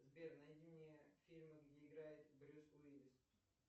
сбер найди мне фильмы где играет брюс уиллис